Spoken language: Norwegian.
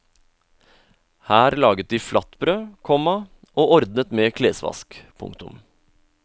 Her laget de flatbrød, komma og ordnet med klesvask. punktum